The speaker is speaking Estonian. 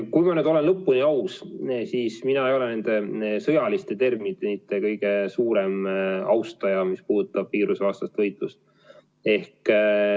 Kui ma nüüd olen lõpuni aus, siis mina ei ole sõjaliste terminite kõige suurem austaja, mis puudutab viirusevastast võitlust.